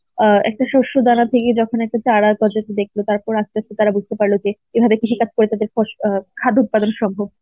অ্যাঁ একটা শস্য দানা থেকে যখন একটা চারা গজাতে দেখতে পারলো আর আস্তে আস্তে তারা বুঝতে পারল যে এভাবে কৃষিকাজটায় তাদের ফস~ অ্যাঁ খাদ্য উৎপাদন সম্ভব.